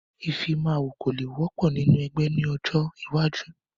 Ìfimawo kò le wọ́pọ̀ nínú ẹgbẹ́ ni ọjọ́ iwájú